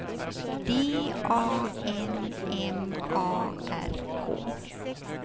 D A N M A R K